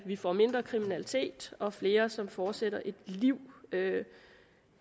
vi får mindre kriminalitet og flere som fortsætter et liv